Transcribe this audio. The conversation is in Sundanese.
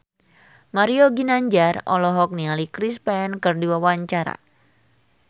Mario Ginanjar olohok ningali Chris Pane keur diwawancara